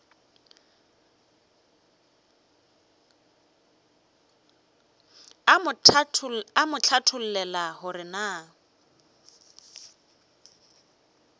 a mo hlathollela gore na